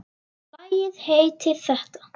Lagið heitir þetta.